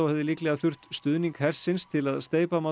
hefði líklega þurft stuðning hersins til að steypa